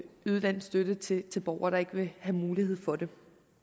yde den støtte til til borgere der ikke vil have mulighed for det